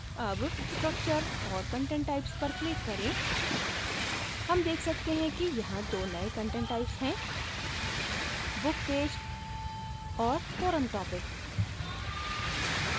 अब structure और content types पर click करें हम देख सकते हैं कि यहाँ दो नयें content types हैं book page और forum topic